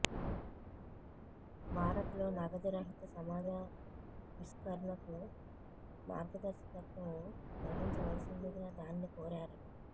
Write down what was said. భారత్లో నగదు రహిత సమాజా విష్కరణకు మార్గదర్శకత్వం వహించవలసిందిగా దానిని కోరారు